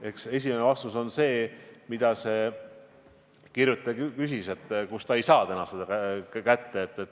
Eks esimene vastus oleks see, millele see kirjutaja ka viitas, öeldes, kust ta seda kaupa täna kätte ei saa.